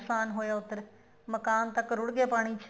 ਨੁਕਸਾਨ ਹੋਇਆ ਉੱਧਰ ਮਕਾਨ ਤੱਕ ਰੁੜ ਗਏ ਪਾਣੀ ਚ